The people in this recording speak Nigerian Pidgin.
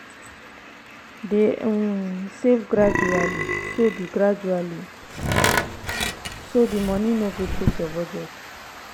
dey um save gradually so the gradually so the money no go shake your budget.